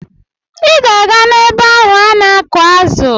Ị ga-aga ebe ahụ ana-akụ̀ azụ!